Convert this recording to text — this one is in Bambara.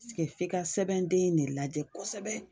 f'i ka sɛbɛnden in de lajɛ kosɛbɛ.